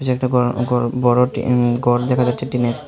এটি একটি বড় ঘর দেখা যাচ্ছে টিনের।